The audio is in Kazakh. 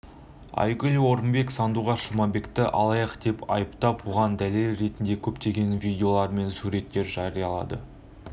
айгүл орынбек сандуғаш жұмабекті алаяқ деп айыптап соған дәлел ретінде көптеген видеолар мен суреттер жариялады